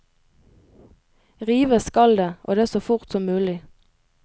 Rives skal det, og det så fort som mulig.